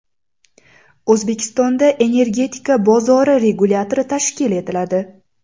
O‘zbekistonda Energetika bozori regulyatori tashkil etiladi.